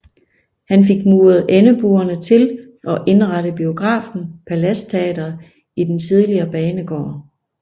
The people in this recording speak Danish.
Han fik muret endebuerne til og indrettede biografen Palads Teatret i den tidligere banegård